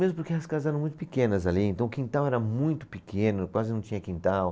Mesmo porque as casas eram muito pequenas ali, então o quintal era muito pequeno, quase não tinha quintal.